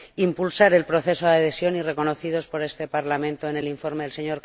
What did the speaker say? impulsar el proceso de adhesión y reconocidos por este Parlamento en el informe del Sr.